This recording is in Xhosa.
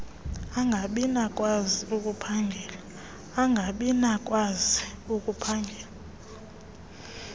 angabi nakukwazi ukuphangela